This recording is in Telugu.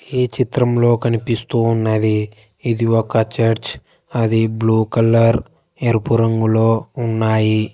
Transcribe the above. ఈ చిత్రంలో కనిపిస్తూ ఉన్నది ఇది ఒక చర్చ్ అది బ్లూ కలర్ ఎరుపు రంగులో ఉన్నాయి.